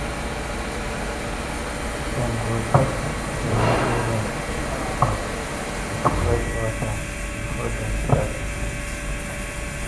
dem go touch the holy rain stone with fresh water before dem start to chant.